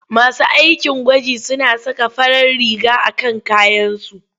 Masu aikin gwaji suna saka farar riga a kan kayansu.